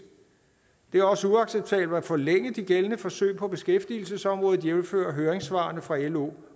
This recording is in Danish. det er også uacceptabelt at forlænge de gældende forsøg på beskæftigelsesområdet jævnfør høringssvarene fra lo